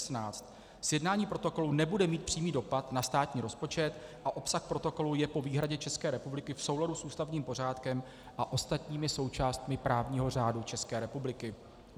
Sjednání protokolu nebude mít přímý dopad na státní rozpočet a obsah protokolu je po výhradě České republiky v souladu s ústavním pořádkem a ostatními součástmi právního řádu České republiky.